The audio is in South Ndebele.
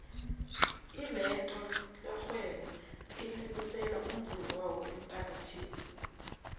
ilotto levhwebo elibusela umvuzo wawo emmphakathini